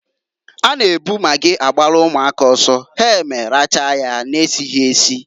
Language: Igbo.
A na ebukwa magị agbalụ ụmụaka ọsọ ha eme rachaa nya na-esighi esi.